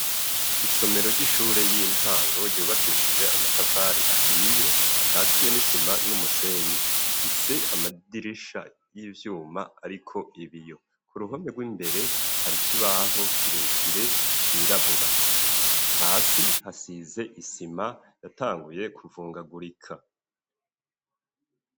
Isomero ry'ishure, y'intango, ryubakishije amatafari ahiye, akatiye n'isima n'umusenyi; ifise amadirisha y'ivyuma, ariko ibiyo; ku ruhome rw'imbere, hari ikibaho kirekire, cirabura; hasi hasize isima, yatanguye kuvungagurika.